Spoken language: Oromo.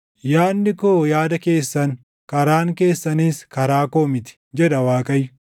“Yaadni koo yaada keessan, karaan keessanis karaa koo miti” jedha Waaqayyo.